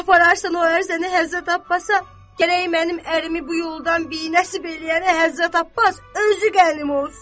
Apararsan o ərzəni Həzrət Abbasa, gərək mənim ərimi bu yoldan binəsib eləyənə Həzrət Abbas özü qənim olsun.